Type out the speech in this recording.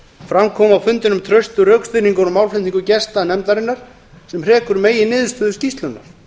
fram kom á fundinum traustur rökstuðningur og málflutningur gesta nefndarinnar sem hrekur meginniðurstöður skýrslunnar